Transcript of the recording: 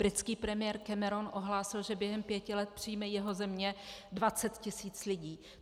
Britský premiér Cameron ohlásil, že během pěti let přijme jeho země 20 tisíc lidí.